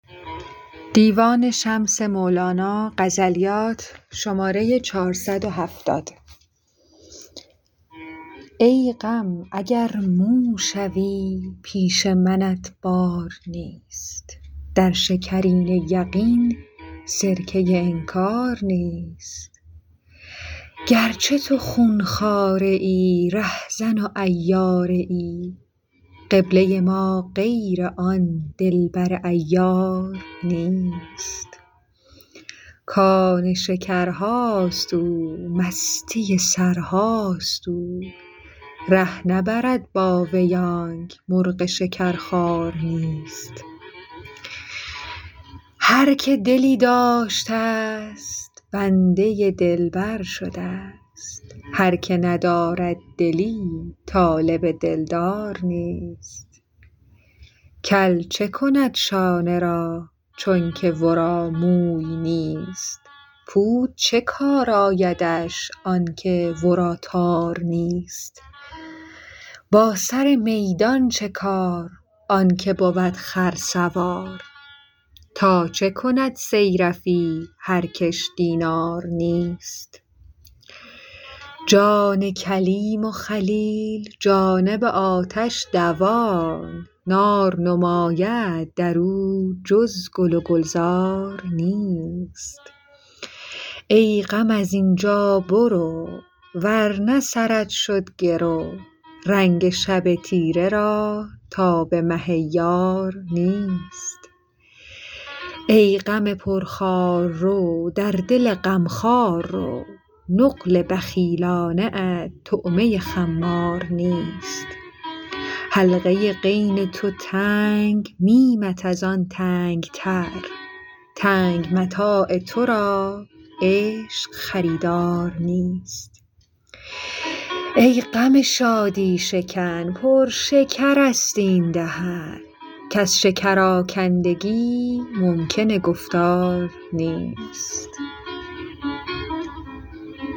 ای غم اگر مو شوی پیش منت بار نیست در شکرینه یقین سرکه انکار نیست گر چه تو خون خواره ای رهزن و عیاره ای قبله ما غیر آن دلبر عیار نیست کان شکرهاست او مستی سرهاست او ره نبرد با وی آنک مرغ شکرخوار نیست هر که دلی داشتست بنده دلبر شدست هر که ندارد دلی طالب دلدار نیست کل چه کند شانه را چونک ورا موی نیست پود چه کار آیدش آنک ورا تار نیست با سر میدان چه کار آن که بود خرسوار تا چه کند صیرفی هر کش دینار نیست جان کلیم و خلیل جانب آتش دوان نار نماید در او جز گل و گلزار نیست ای غم از این جا برو ور نه سرت شد گرو رنگ شب تیره را تاب مه یار نیست ای غم پرخار رو در دل غم خوار رو نقل بخیلانه ات طعمه خمار نیست حلقه غین تو تنگ میمت از آن تنگ تر تنگ متاع تو را عشق خریدار نیست ای غم شادی شکن پر شکرست این دهن کز شکرآکندگی ممکن گفتار نیست